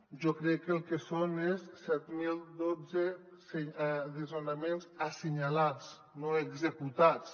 jo crec que el que són és set mil dotze desnonaments assenyalats no executats